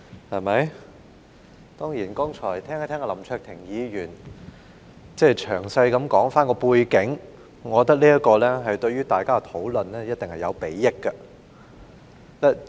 林卓廷議員剛才詳細交代背景，我認為這對於大家的討論一定有禆益。